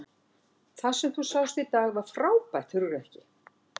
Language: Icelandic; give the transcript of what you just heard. Það sem þú sást í dag var frábært hugrekki.